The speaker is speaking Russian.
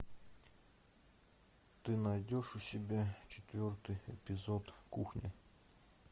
ты найдешь у себя четвертый эпизод кухня